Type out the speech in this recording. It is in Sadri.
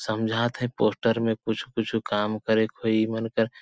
समझात हे पोस्टर में कुछु -कुछू काम करेक होई ए मन कर --